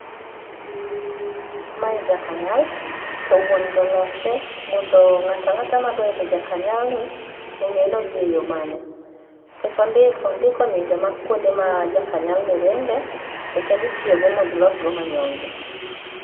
Mae jakanyal, to wuon go olose mondo ng'ata ng'ata madwa idho jakanyalni ong'e nodhi e yoo mane. Nikech ondik ondiko nyinge ma kuonde ma jakanyal ni ringe to kendo itiyo go mondo ilos go manyonge.